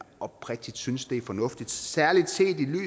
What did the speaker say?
oprigtigt synes det er fornuftigt særlig